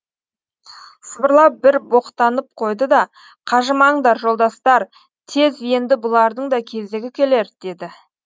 сыбырлап бір боқтанып қойды да қажымаңдар жолдастар тез енді бұлардың да кезегі келер деді